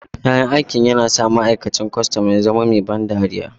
Kyan aikin yana sa ma'aikacin kwastan ya zama mai ban dariya.